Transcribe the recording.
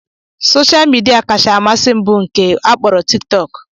Soshal midia kacha amasị m bụ nke a kpọrọ tik tok